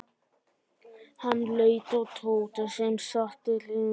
Hann leit á Tóta sem sat við hliðina á honum.